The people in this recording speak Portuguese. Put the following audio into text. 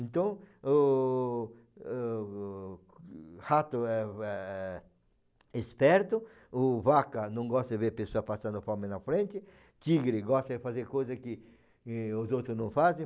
Então, o o rato é o é esperto, o vaca não gosta de ver a pessoa passando fome na frente, tigre gosta de fazer coisas que e, os outros não fazem.